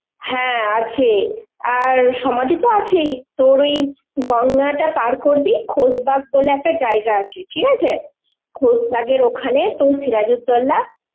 হ্যাঁ আছে, আর সমাধিত আছেই, তোর ওই গঙ্গাটা পার করবি, খোশবাগ বলে একটা জায়গা আছে, ঠিক আছে? খোশবাগের ওখানে তোর সিরাজউদ্দৌলা